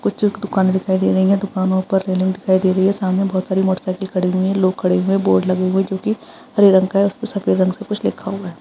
कुछ एक दुकानें दिखाई दे रही हैं| दुकानों पर रेलिंग दिखाई दे रही है| सामने बहुत सारी मोटरसाइकिल खड़ी हुई हैं| लोग खड़े हुए हैं| बोर्ड लगे हुए हैं जो की हरे रंग का है| उसपे सफेद रंग से कुछ लिखा हुआ है।